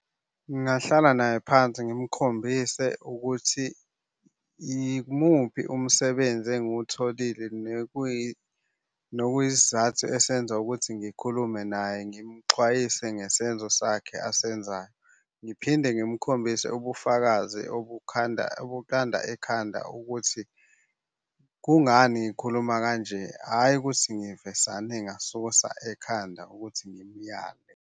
Ngingahlala naye phansi ngimukhombisa ukuthi imuphi umsebenzi engutholile nokuyisizathu esenza ukuthi ngikhulume naye. Ngimuxwayise ngesenzo sakhe asenzayo. Ngiphinde ngimukhombise ubufakazi obukhanda, obukhanda ikhanda ukuthi kungani ngikhuluma kanje. Hhayi ukuthi ngivesane ngasusa ekhanda ukuthi ngimyale.